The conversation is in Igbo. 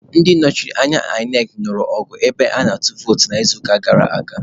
Ndị nnọchiteanya INEC nụrụ ọgụ ebe ana-atụ vootu n'izuụka gara aga.